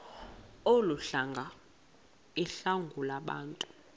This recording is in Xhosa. olu hlanga iwalungabantu